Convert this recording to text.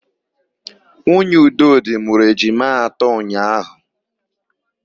Nwunye Udodị mụrụ ejima atọ ụnyaahụ.